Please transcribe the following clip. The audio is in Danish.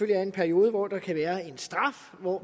være en periode hvor der kan være en straf og hvor